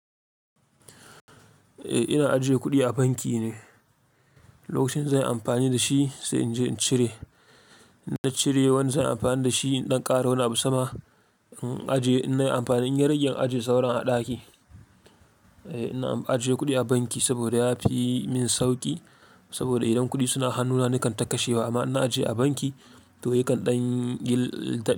Eh ina ajiye kuɗi a banki ne, lokacin zan yi amfani da shi sai in je in cire. Na cire wani zan yi amfani da shi idan ƙara wani abu sama, in ajiye na yi amfani in yi rage in ajiye sauran a ɗaki. Eh ina ajiye kuɗi a banki saboda ya fi min sauƙi saboda idan kuɗi suna hannuna ni kan taka shi amma ina ajiye a banki to yakan ɗan gil-